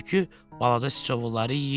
Tülkü balaca siçovulları yeyir.